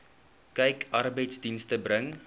kyk arbeidsdienste bring